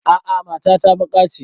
A'a mata ta baƙa ce